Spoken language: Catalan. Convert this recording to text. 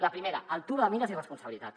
la primera altura de mires i responsabilitat